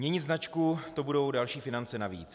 Měnit značku, to budou další finance navíc.